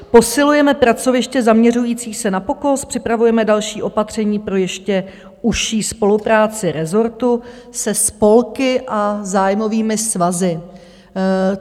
Posilujeme pracoviště zaměřující se na POKOS, připravujeme další opatření pro ještě užší spolupráci rezortu se spolky a zájmovými svazy.